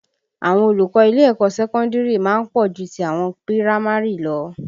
Àwọn olùkọ́ ilé ẹ̀kọ́ sẹ́kọ́ndìrì má ń pọ̀ ju ti àwọn pírámárì lọ